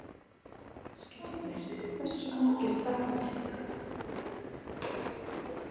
Skírnir, hversu margir dagar fram að næsta fríi?